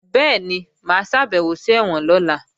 Bẹ́ẹ̀ni, mà á ṣàbẹ̀wò sí ẹ̀wọ̀n lọ́la